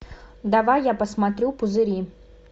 давай я посмотрю пузыри